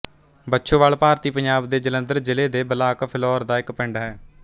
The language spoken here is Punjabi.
ਬੱਛੋਵਾਲ ਭਾਰਤੀ ਪੰਜਾਬ ਦੇ ਜਲੰਧਰ ਜ਼ਿਲ੍ਹੇ ਦੇ ਬਲਾਕ ਫਿਲੌਰ ਦਾ ਇੱਕ ਪਿੰਡ ਹੈ